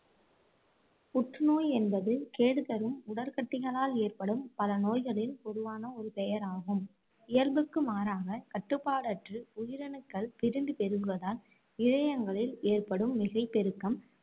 புற்று நோய் என்பது கேடு தரும் உடற்கட்டிகளால் ஏற்படும் பல நோய்களின் பொதுவான ஒரு பெயர் ஆகும் இயல்புக்கு மாறாக கட்டுப்பாடற்று உயிரணுக்கள் பிரிந்து பெருகுவதால் இழையங்களில் ஏற்படும் மிகை பெருக்கம்